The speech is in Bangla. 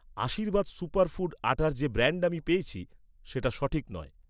আশীর্বাদ সুপার ফুড আটা্র যে ব্র্যান্ড আমি পেয়েছি, সেটা ঠিক নয়